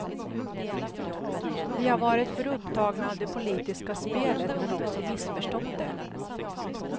Vi har varit för upptagna av det politiska spelet, men också missförstått det.